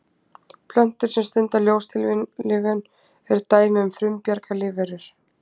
Plöntur sem stunda ljóstillífun eru dæmi um frumbjarga lífverur.